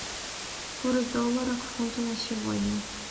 курс доллара к фунту на сегодня